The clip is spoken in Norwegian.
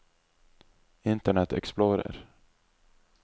internet explorer